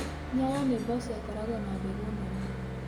Nyayo nĩ mboco ikoragwo na mbegũ nene.